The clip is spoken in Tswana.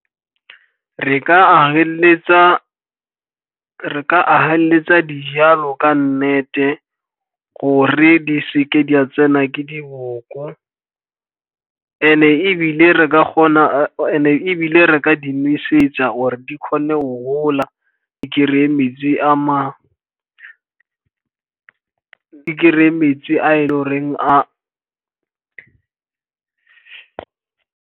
Re ka ageletsa dijalo ka nnete gore di se ke di a tsena ke diboko, and-e ebile re ka di nosetsa gore di kgone go gola, e kry-e metsi a e leng gore a.